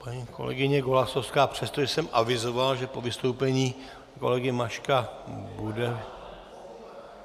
Paní kolegyně Golasowská přestože jsem avizoval, že po vystoupení kolegy Maška bude...